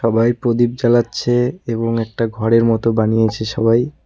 সবাই প্রদীপ জ্বালাচ্ছে এবং একটা ঘরের মতো বানিয়েছে সবাই।